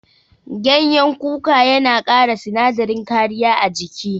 Gyanyen kuka yana kara sinadarin kariya a jiki.